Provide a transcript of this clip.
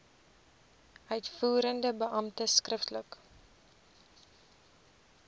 uitvoerende beampte skriftelik